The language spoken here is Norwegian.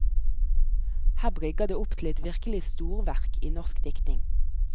Her brygger det opp til et virkelig storverk i norsk diktning.